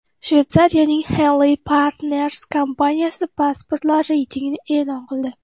Shveysariyaning Henley&Partners kompaniyasi pasportlar reytingini e’lon qildi .